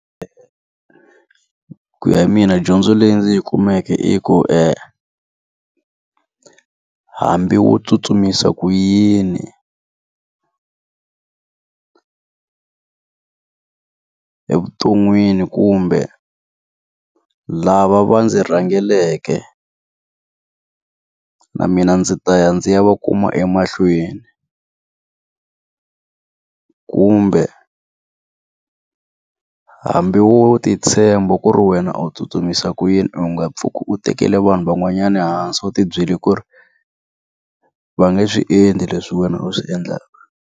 Ku ya mina dyondzo leyi ndzi yi kumeke i ku hambi wo tsutsumisa ku yini evuton'wini kumbe lava va ndzi rhangeleke na mina ndzi ta ya ndzi ya va kuma emahlweni. Kumbe hambi wo ti tshemba ku ri wena a tsutsumisa ku yini u nga pfuki u tekele vanhu van'wanyana ehansi u ti byele ku ri, va nga swi endli leswi wena u swi endlaka.